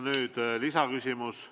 Nüüd lisaküsimus.